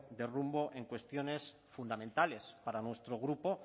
de rumbo en cuestiones fundamentales para nuestro grupo